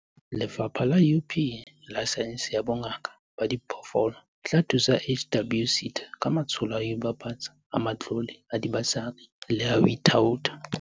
Lefapha la UP la Saense ya Bongaka ba Diphoofolo le tla thusa HWSETA ka matsholo a ho ibapatsa, a matlole a dibasari le a ho thaotha.